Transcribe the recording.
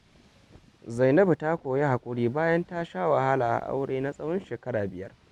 Zainabu ta koyi haƙuri bayan ta sha wahala a aure na tsawon shekara biyar.